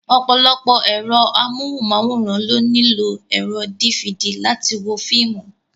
Ọ̀pọ̀lọpọ̀ ẹ̀rọ amóhùnmáwòrán ló nílò ẹ̀rọ dífidì láti wo fíìmù.